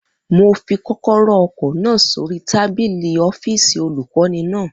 Mo fi kọ́kọ́rọ́ ọkọ̀ náà sórí tábìlì ọ́fìsì olùkọ́ni náà